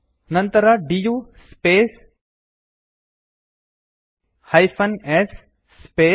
ನಂತರ du space -s space